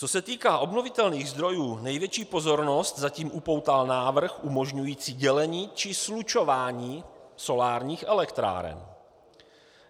Co se týká obnovitelných zdrojů, největší pozornost zatím upoutal návrh umožňující dělení či slučování solárních elektráren.